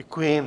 Děkuji.